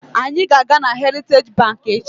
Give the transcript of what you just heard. Anyị ga-aga na heritaji banki echi.